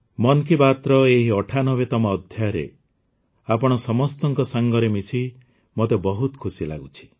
ମନ୍ କି ବାତ୍ର ଏହି ୯୮ତମ ଅଧ୍ୟାୟରେ ଆପଣ ସମସ୍ତଙ୍କ ସାଙ୍ଗରେ ମିଶି ମୋତେ ବହୁତ ଖୁସି ଲାଗୁଛି